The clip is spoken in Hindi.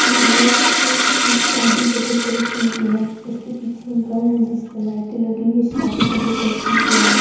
ये पिक्चर किसी शादी का डेकोरेशन की है इसके पीछे एक घर है जिस पे लाइटें लगी हुई शादी का डेकोरेशन किया हुआ है।